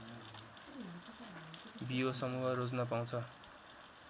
बियो समूह रोज्न पाउँछ